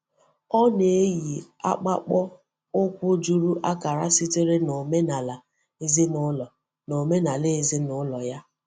Ọ na-eyí ọ́kpàkpọ̀ ụkwụ juru akara sitere n’omenala ezinụlọ n’omenala ezinụlọ ya.